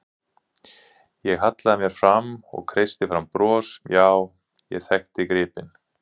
Ég hallaði mér fram og kreisti fram bros, já, ég þekkti gripinn.